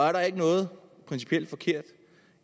er der ikke noget principielt forkert